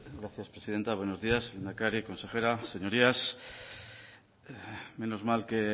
gracias presidenta buenos días lehendakari consejera señorías menos mal que